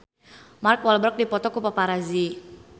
Mark Walberg dipoto ku paparazi